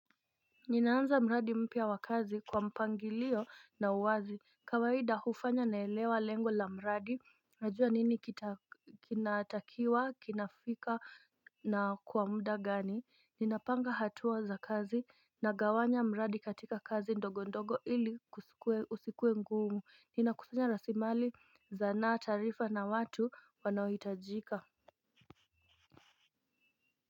Ninaanza mradi mpya wa kazi kwa mpangilio na uwazi kawaida hufanya naelewa lengo la mradi. Najua nini kinaatakiwa kinafika na kwa muda gani. Ninapanga hatua za kazi na gawanya mradi katika kazi ndogo ndogo ili kusikue usikuwe ngumu. Ninakusanya rasilimali za na taarifa na watu wanaohitajika.